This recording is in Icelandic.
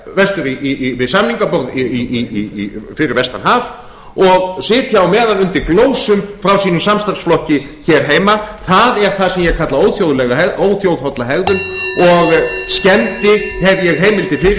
þurfi að sitja við samningaborð fyrir vestan haf og sitja á meðan undir glósum frá sínum samstarfsflokki hér heima það er það sem ég kalla óþjóðholla hegðun og skemmdi stórlega fyrir